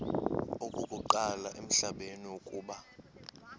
okokuqala emhlabeni uba